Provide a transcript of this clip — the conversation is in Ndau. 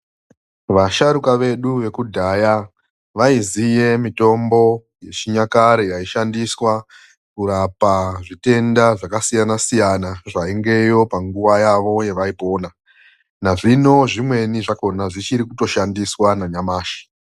Vasharuka vedu vekudhaya vaiziye mitombo yechinyakare yaishandiswa kurapa zvitenda zvakasiyana siyana zvaingeyo panguwa yavo yevaipona. Nazvino zvimweni zvako zvichiri kutoshandiswa nanyamashi.